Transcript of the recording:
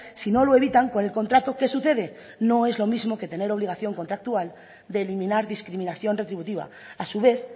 si no lo evitan con el contrato qué sucede no es lo mismo que tener obligación contractual de eliminar discriminación retributiva a su vez